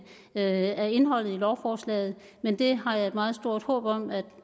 af indholdet i lovforslaget men det har jeg et meget stort håb om at